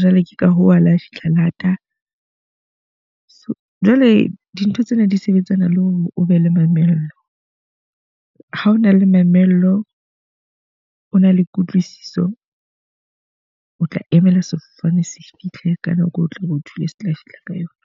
jwale ke ka hoo ho lo fihla lata. So jwale dintho tsena di sebetsana le hore o be le mamello. Ha o na le mamello, o na le kutlwisiso, o tla emela sefofane se fihle ka nako eo o tlabe ho thole se tla fihla ka yona.